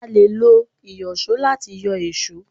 a lè lo Ìyọ̀ṣó lati yọ èṣó.